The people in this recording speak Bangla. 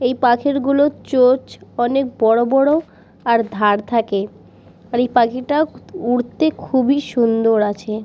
এই পাখিগুলোর চোচ অনেক বড় বড় আর ধার থাকে আর এই পাখিটা উড়তে খুবই সুন্দর আছে ।